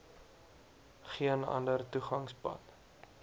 geen ander toegangspad